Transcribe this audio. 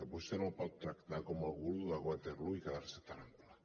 vostè no el pot tractar com el guru de waterloo i quedar se tan ample